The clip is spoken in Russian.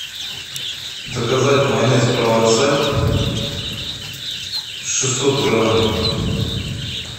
заказать майонез провансаль шестьсот грамм